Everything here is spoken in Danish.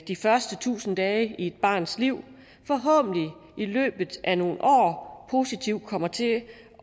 de første tusind dage i et barns liv forhåbentlig i løbet af nogle år positivt kommer til